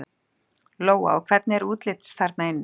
Lóa: Og hvernig er útlits þarna inni?